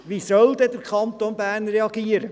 Wie soll dann der Kanton Bern reagieren?